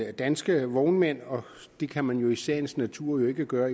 af danske vognmænd det kan man i sagens natur ikke gøre